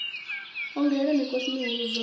ongolela mikosi mihulu u bvafhi